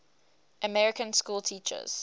american schoolteachers